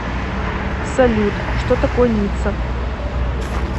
салют что такое ницца